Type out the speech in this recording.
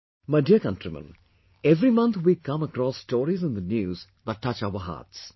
My dear countrymen, every month, we come across stories in the News that touch our hearts